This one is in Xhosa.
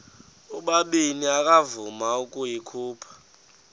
ubabini akavuma ukuyikhupha